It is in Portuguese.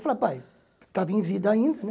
Eu falava, pai, estava em vida ainda, né?